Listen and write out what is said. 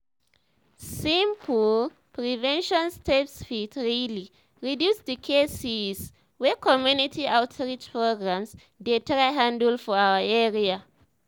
simple prevention steps fit really reduce the cases wey community outreach programs dey try handle for our area.